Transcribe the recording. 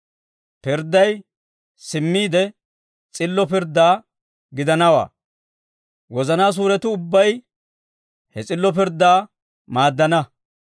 Pirdday simmiide s'illo pirddaa gidanawaa; wozanaa suuretuu ubbay he s'illo pirddaa maaddana.